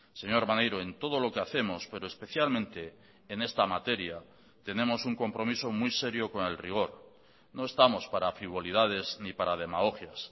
señor maneiro en todo lo que hacemos pero especialmente en esta materia tenemos un compromiso muy serio con el rigor no estamos para frivolidades ni para demagogias